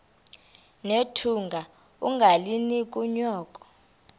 nethunga ungalinik unyoko